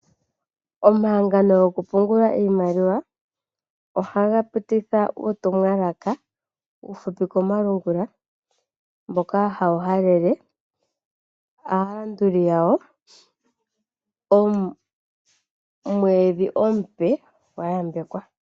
Omahangano goku pungula iimaliwa ohaga pititha uutumwalaka uufupi komalungula, mboka hawu halele aalanduli yawo omwedhi omupe gwa yambekwa.